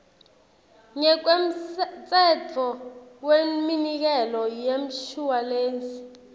ngekwemtsetfo weminikelo yemshuwalensi